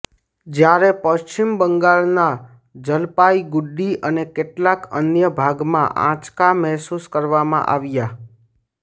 જ્યારે પશ્વિમ બંગાળના જલપાઇગુડી અને કેટલાક અન્ય ભાગમાં આંચકા મહેસૂસ કરવામાં આવ્યા